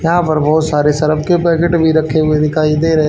यहां पर बहोत सारे शराब के पैकेट भी रखे हुए दिखाई दे रहे--